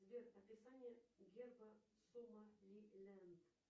сбер описание герба сомалиленд